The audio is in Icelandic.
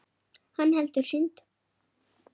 Hann heldur synd